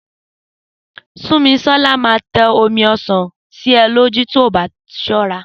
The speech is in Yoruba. Súnmisọ́lá máa tẹ omi ọsàn sí e ní ojú tí o bá ṣọ́ra